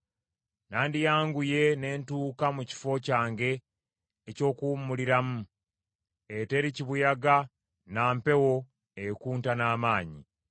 nandiyanguye ne ntuuka mu kifo kyange eky’okuwummuliramu, eteri kibuyaga na mpewo ekunta n’amaanyi.”